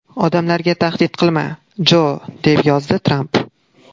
Odamlarga tahdid qilma, Jo!”, deb yozdi Tramp.